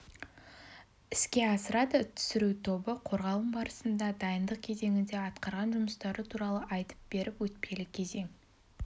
іске асырады түсіру тобы қорғалым барысында дайындық кезеңінде атқарған жұмыстары туралы айтып беріп өтпелі кезең